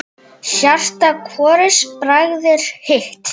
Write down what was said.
Hjarta hvorugs bræðir hitt.